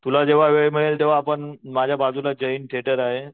तुला वेळ मिळेल तेंव्हा आपण माझ्या बाजूला जय हिंद थिएटर आहे